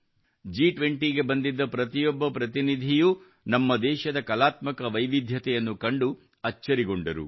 ಜಿ20 ಕ್ಕೆ ಬಂದಿದ್ದ ಪ್ರತಿಯೊಬ್ಬ ಪ್ರತಿನಿಧಿಯೂ ನಮ್ಮ ದೇಶದ ಕಲಾತ್ಮಕ ವೈವಿಧ್ಯತೆಯನ್ನು ಕಂಡು ಅಚ್ಚರಿಗೊಂಡರು